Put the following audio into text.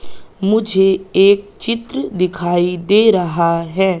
मुझे एक चित्र दिखाई दे रहा है।